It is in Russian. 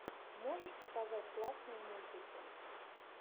можешь показать классные мультики